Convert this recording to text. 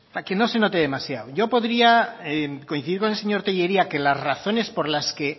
para que no se note demasiado yo podría coincidir con el señor tellería que las razones por las que